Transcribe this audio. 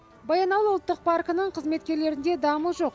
баянауыл ұлттық паркінің қызметкерлерінде дамыл жоқ